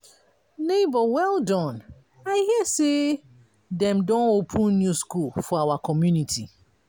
nebor well done i hear sey dem don open new school for our community.